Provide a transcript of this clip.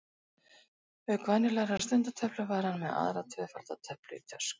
Auk venjulegrar stundatöflu var hann með aðra tvöfalda töflu í töskunni.